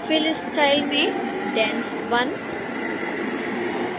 fill style में dense1